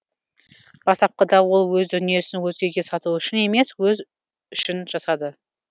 бастапқыда ол өз дүниесін өзгеге сату үшін емес өз үшін жасады